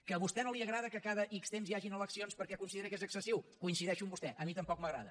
que a vostè no li agrada que cada ics temps hi hagin eleccions perquè considera que és excessiu coincideixo amb vostè a mi tampoc m’agrada